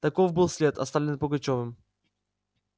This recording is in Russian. таков был след оставленный пугачёвым